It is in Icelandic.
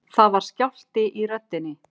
Það var skjálfti í röddinni.